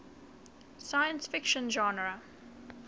science fiction genre